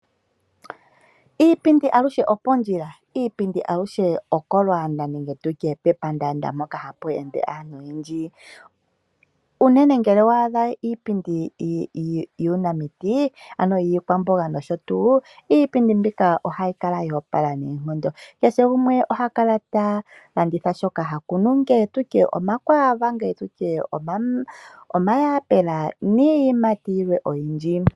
Iipindi aluhe opondjila. Iipindi aluhe okolwaanda nenge tutye pepandaanda mpoka hapu ende aantu oyendji, unene ngele owa adha iipindi yuunamiti ano yiikwamboga nosho tuu iipindi mbika ohayi kala yo opala noonkondo kehe gumwe ohakala ta landitha shoka hakunu ngele tutye omakwaava, ngele tutye omayapela niiyimati oyindji.